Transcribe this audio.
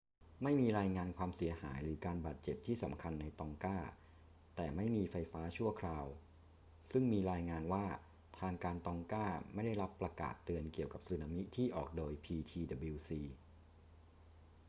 ไม่มีรายงานความเสียหายหรือการบาดเจ็บที่สำคัญในตองกา แต่ไม่มีไฟฟ้าชั่วคราว ซึ่งมีรายงานว่าทางการตองกาไม่ได้รับประกาศเตือนเกี่ยวกับสึนามิที่ออกโดย ptwc